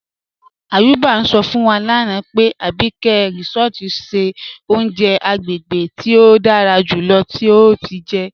Ayuba n sọ fún wa lánà pé Àbíkẹ̀ Résọ̀tì ṣẹ ọ̀uǹjẹ̀ àgbégébè tí o dára júlọ̀ tí o ti jẹ́.